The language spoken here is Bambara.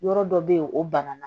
Yɔrɔ dɔ bɛ yen o ban na